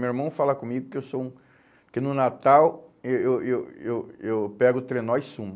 Meu irmão fala comigo que eu sou um que no Natal eh eu eu eu eu pego o trenó e sumo.